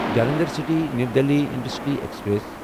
Jalandhar city new Delhi intercity express